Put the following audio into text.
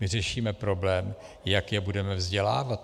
My řešíme problém, jak je budeme vzdělávat.